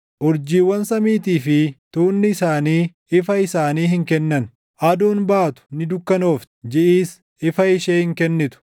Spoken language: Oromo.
Urjiiwwan samiitii fi tuunni isaanii ifa isaanii hin kennan. Aduun baatu ni dukkanoofti; jiʼis ifa ishee hin kennitu.